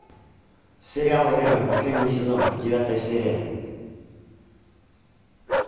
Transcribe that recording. сериал время последний сезон девятая серия